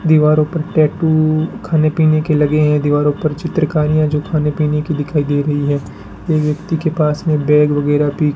दीवारों पर टैटू खाने पीने के लगे हैं दीवारों पर चित्रकार्य जो खाने पीने के दिखाई दे रही है एक व्यक्ति के पास में बैग वगैरह भी --